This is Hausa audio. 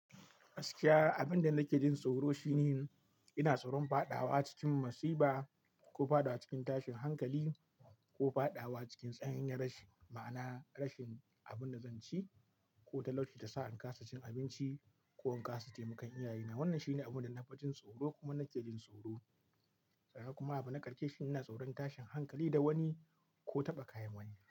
Gaskiya, abin da nake jin tsoro shine ina tsoron fadawa cikin musiba ko fadawa cikin tashin hankali ko fadawa cikin tsananin rashin, ma'ana rashin abin da zan ci ko talauci da ta sa in kasa cin abinci ko in kasa taimakon iyaye na. Wannan shine abunda na fi jin tsoro kuma nake jin tsoro, kuma nake jin tsoro sannan kuma abu na ƙarshe shi ina tsoron tashin hankali da wani ko taɓa kayan wani.